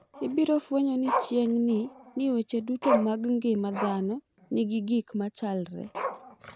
Ibiro fwenyo ni chiegni ni weche duto mag ngima dhano nigi gik ma chalre.